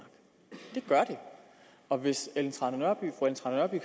og hvis fru ellen trane nørby